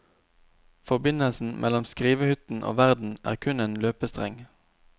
Forbindelsen mellom skrivehytten og verden er kun en løpestreng.